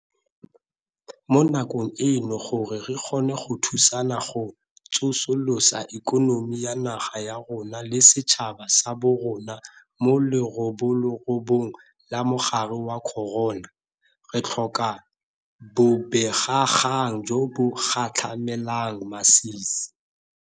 Mo nakong eno gore re kgone go thusana go tsosolosa ikonomi ya naga ya rona le setšhaba sa borona mo leroborobong la mogare wa corona, re tlhoka bobegakgang jo bo gatlhamelang masisi.